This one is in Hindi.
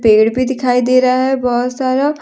पेड़ भी दिखाई दे रहा है बहुत सारा।